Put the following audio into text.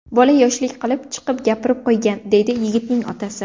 Bola yoshlik qilib, chiqib gapirib qo‘ygan”, deydi yigitning otasi.